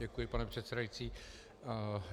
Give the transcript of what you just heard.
Děkuji, pane předsedající.